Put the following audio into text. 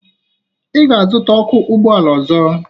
Ị ga-azụta ọkụ ụgbọala ọzọ!